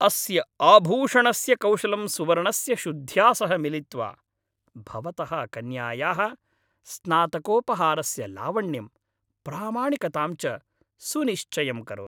अस्य आभूषणस्य कौशलं सुवर्णस्य शुद्ध्या सह मिलित्वा भवतः कन्यायाः स्नातकोपहारस्य लावण्यं, प्रामाणिकतां च सुनिश्चयं करोति।